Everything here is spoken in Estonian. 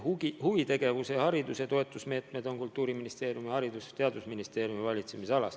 Huvitegevuse ja hariduse toetamise meetmed on Kultuuriministeeriumi ja Haridus- ja Teadusministeeriumi valitsemisalas.